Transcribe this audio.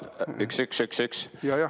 Üks-üks-üks-üks.